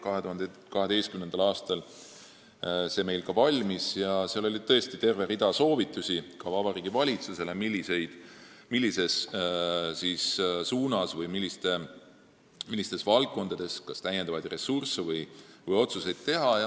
See valmis meil 2012. aastal ja seal oli terve rida soovitusi ka Vabariigi Valitsusele, millistesse valdkondadesse täiendavaid ressursse suunata või milliseid otsuseid teha.